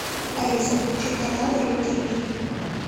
алиса включи канал ру тв